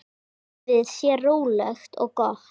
Lífið sé rólegt og gott.